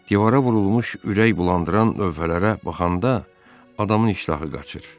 Divara vurulmuş ürək bulandıran lövhələrə baxanda adamın iştahı qaçır.